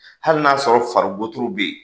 Hali n'a y'a sɔrɔ falibotoro bɛ yen.